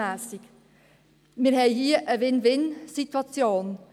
Wir haben hier eine Win-win-Situation.